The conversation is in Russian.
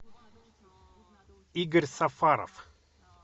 игорь сафаров